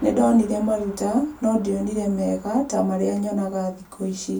Nĩndonire maruta no ndionire mega ta marĩa yonaga thikũ ici.